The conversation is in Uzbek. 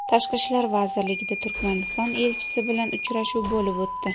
Tashqi ishlar vazirligida Turkmaniston elchisi bilan uchrashuv bo‘lib o‘tdi.